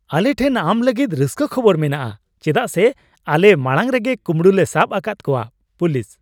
ᱟᱞᱮ ᱴᱷᱮᱱ ᱟᱢ ᱞᱟᱹᱜᱤᱫ ᱨᱟᱹᱥᱠᱟᱹ ᱠᱷᱚᱵᱚᱨ ᱢᱮᱱᱟᱜᱼᱟ ᱪᱮᱫᱟᱜ ᱥᱮ ᱟᱞᱮ ᱢᱟᱲᱟᱝ ᱨᱮᱜᱮ ᱠᱩᱢᱲᱩ ᱞᱮ ᱥᱟᱵ ᱟᱠᱟᱫ ᱠᱚᱣᱟ, ᱾ (ᱯᱩᱞᱤᱥ)